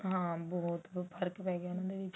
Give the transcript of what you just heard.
ਹਾਂ ਬਹੁਤ ਫਰਕ ਪੈਗਿਆ ਉਹਨਾਂ ਨੂੰ ਵੀ